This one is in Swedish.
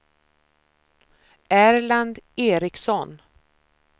Erland Eriksson